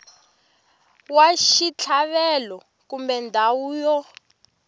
wa xitlhavelo kumbe ndhawu yo